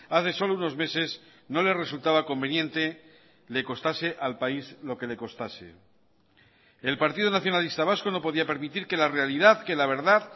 hace solo unos meses no le resultaba conveniente le costase al país lo que le costase el partido nacionalista vasco no podía permitir que la realidad que la verdad